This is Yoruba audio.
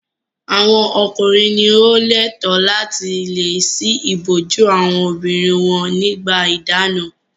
Àwọn ọkùnrin ni ó lẹ́ẹ̀tọ́ láti le ṣí ìbòjú àwọn obìnrin wọn nígbà ìdáná.